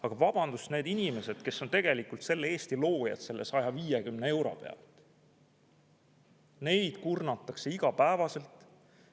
Aga vabandust, neid inimesi, kes on tegelikult Eesti loojad selle 150 pealt, kurnatakse igapäevaselt.